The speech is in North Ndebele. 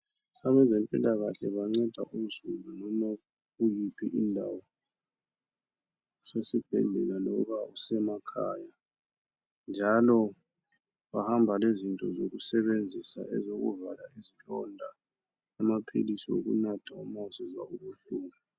Abazempilakahle banceda uzulu loba ukuyiphi indaba usesibhedlela loba usemakhaya njalo bahamba lezinto zokusebenzisa nxa ufuna ukuvala isilonda amaphilizi okunatha nxa usizwa ubuhlungu.